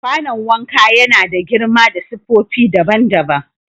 Kwanon wanka ya na da girma da siffofi daban-daban.